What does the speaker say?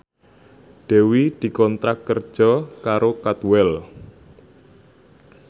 Dewi dikontrak kerja karo Cadwell